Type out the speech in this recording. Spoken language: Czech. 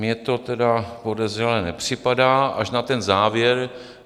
Mně to tedy podezřelé nepřipadá, až na ten závěr.